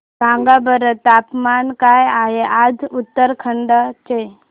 सांगा बरं तापमान काय आहे आज उत्तराखंड चे